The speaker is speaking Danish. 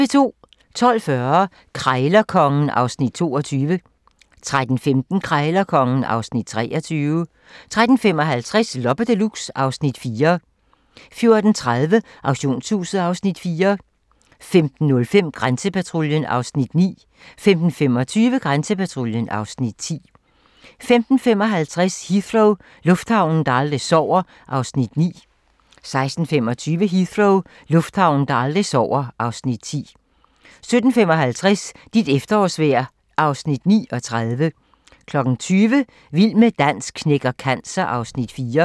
12:40: Krejlerkongen (Afs. 22) 13:15: Krejlerkongen (Afs. 23) 13:55: Loppe Deluxe (Afs. 4) 14:30: Auktionshuset (Afs. 4) 15:05: Grænsepatruljen (Afs. 9) 15:25: Grænsepatruljen (Afs. 10) 15:55: Heathrow - lufthavnen, der aldrig sover (Afs. 9) 16:25: Heathrow - lufthavnen, der aldrig sover (Afs. 10) 17:55: Dit efterårsvejr (Afs. 39) 20:00: Vild med dans knækker cancer (Afs. 4)